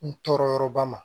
N tɔɔrɔyɔrɔba ma